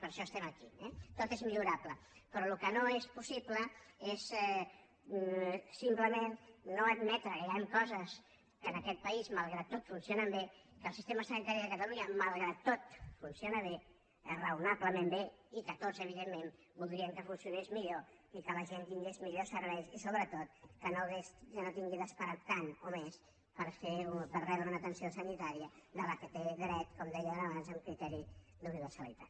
per això som aquí eh tot és millorable però el que no és possible és simplement no admetre que hi han coses que en aquest país malgrat tot funcionen bé que el sistema sanitari de catalunya malgrat tot funciona bé raonablement bé i que tots evidentment voldríem que funcionés millor i que la gent tingués millors serveis i sobretot que no hagi d’esperar tant o més per rebre una atenció sanitària a la qual té dret com dèiem abans amb criteri d’universalitat